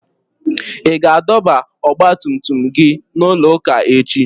Ị ga-adọba ọgba tum tum gị n'ụlọ ụka echi?